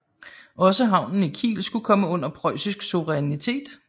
Også havnen i Kiel skulle komme under preussisk souverinitæt